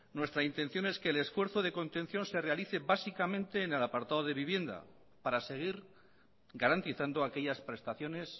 nuestra intención es que el esfuerzo de contención se realice básicamente en el apartado de vivienda para seguir garantizando aquellas prestaciones